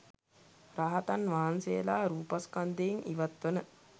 රහතන් වහන්සේගේ රූපස්කන්ධයෙන් ඉවත්වන